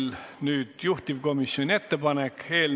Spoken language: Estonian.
Muudatusettepanekute esitamise tähtaeg on 27. detsembril kell 16.